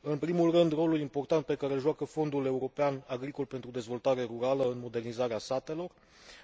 În primul rând, rolul important pe care îl joacă Fondul european agricol pentru dezvoltare rurală în modernizarea satelor